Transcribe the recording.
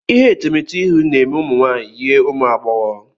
Ihe etemeete ihu na-eme ụmụ nwaanyị yie ụmụ agbọghọ.